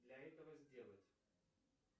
для этого сделать